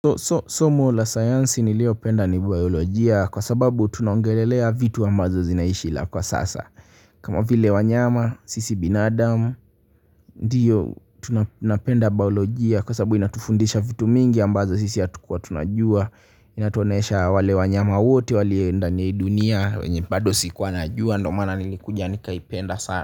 Somo la sayansi niliopenda ni biolojia kwa sababu tunaongelelea vitu ambazo zinaishi na kwa sasa kama vile wanyama, sisi binadamu, ndiyo tunapenda biolojia kwa sababu inatufundisha vitu mingi ambazo sisi hatukua tunajua. Inatuonyesha wale wanyama wote, waliondani ya hii dunia, wenye bado sikuwa najua, ndo maana nilikuja nikaipenda sana.